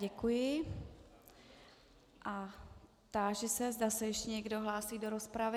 Děkuji a táži se, zda se ještě někdo hlásí do rozpravy.